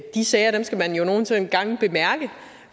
de sager skal man jo nogle gange bemærke